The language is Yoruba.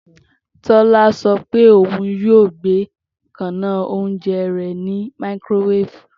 Tola sọ pe oun yoo gbe kanaa ounjẹ rẹ ni makirowefu.